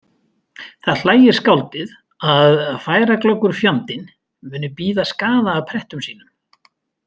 Það hlægir skáldið að „færaglöggur fjandinn“ muni bíða skaða af prettum sínum